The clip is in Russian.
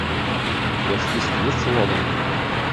у тебя в списке есть логан